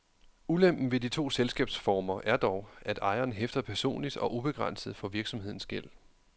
Ulempen ved de to selskabsformer er dog, at ejeren hæfter personligt og ubegrænset for virksomhedens gæld.